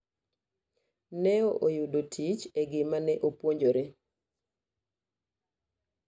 New oyudo tich e gima ne opuonjre.